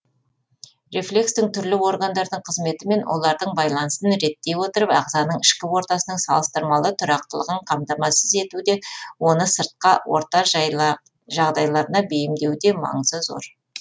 рефлекстің түрлі органдардың қызметі мен олардың байланысын реттей отырып ағзаның ішкі ортасының салыстырмалы тұрақтылығын қамтамасыз етуде оны сыртқа орта жағдайларына бейімдеуде маңызы зор